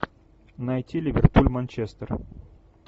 найти ливерпуль манчестер